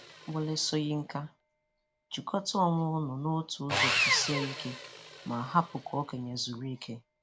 Wọle Soyinka: Jikọta onwe unu n’otu ụzọ kwụsie ike ma hapụ ka okenye zuru ike.